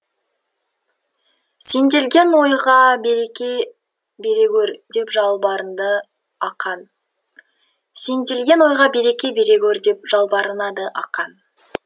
сенделген ойға береке бере гөр деп жалбарынады ақан сенделген ойға береке бере гөр деп жалбарынады ақан